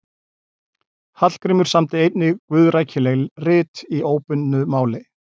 Hallgrímur samdi einnig guðrækileg rit í óbundnu máli.